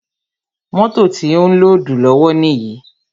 Mótò ti ó ń lódùù lọ́wọ́ níyì.